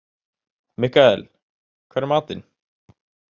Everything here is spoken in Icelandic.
Mikkael, hvað er í matinn?